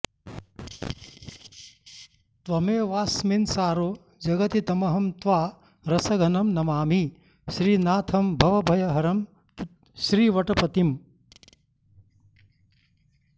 त्वमेवास्मिन्सारो जगति तमहं त्वा रसघनं नमामि श्रीनाथं भवभयहरं श्रीवटपतिम्